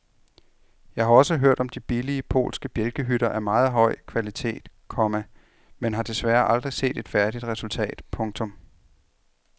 Jeg har også hørt om de billige polske bjælkehytter af meget høj kvalitet, komma men har desværre aldrig set et færdigt resultat. punktum